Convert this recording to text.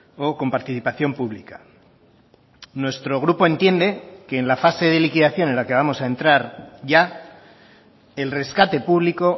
o con participación pública nuestro grupo entiende que en la fase de liquidación en la que vamos a entrar ya el rescate público